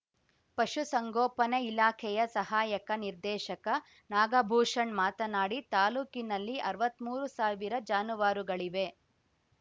ಪಶು ಸಂಗೋಪನೆ ಇಲಾಖೆಯ ಸಹಾಯಕ ನಿರ್ದೇಶಕ ನಾಗಭೂಷಣ್ ಮಾತನಾಡಿ ತಾಲ್ಲೂಕಿನಲ್ಲಿ ಅರ್ವತ್ಮೂರು ಸಾವಿರ ಜಾನುವಾರುಗಳಿವೆ